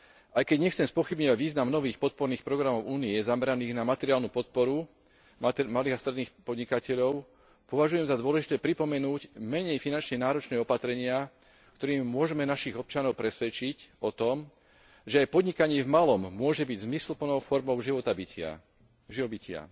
Aj keď nechcem spochybňovať význam nových podporných programov Únie zameraných na materiálnu podporu malých a stredných podnikateľov, považujem za dôležité pripomenúť menej finančne náročné opatrenia, ktorými môžeme našich občanov presvedčiť o tom, že aj podnikanie v malom môže byť zmysluplnou formou živobytia.